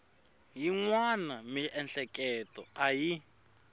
yin wana miehleketo a yi